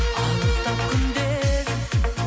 алыстап күндер